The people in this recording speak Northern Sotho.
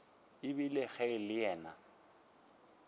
ebile ge e le yena